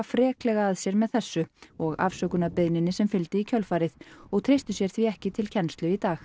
freklega að sér með þessu og afsökunarbeiðninni sem fylgdi í kjölfarið og treystu sér því ekki til kennslu í dag